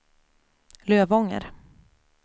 Lövånger